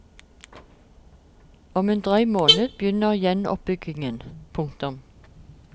Om en drøy måned begynner gjenoppbyggingen. punktum